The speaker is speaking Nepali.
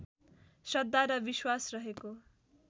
श्रद्धा र विश्वास रहेको